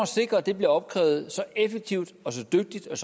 sikre at det bliver opkrævet så effektivt dygtigt og